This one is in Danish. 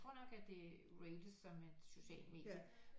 Tror nok at det er rated som et socialt medie